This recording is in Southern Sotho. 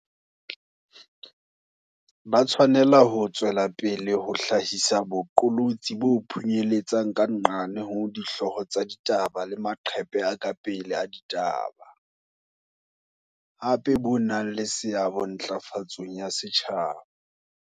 Ba tshwanela ho tswela pele ho hlahisa boqolotsi bo phunyeletsang ka nqane ho dihlooho tsa ditaba le maqephe a ka pele a ditaba, hape bo nang le seabo ntla fatsong ya setjhaba.